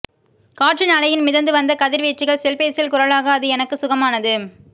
காற்றின் அலையில் மிதந்து வந்த கதிர் வீச்சுகள் செல்பேசியில் குரலாக அது எனக்கு சுகமானது